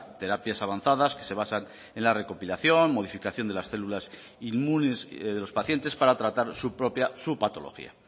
terapias avanzadas que se basan en la recopilación modificación de las células inmunes de los pacientes para tratar su propia su patología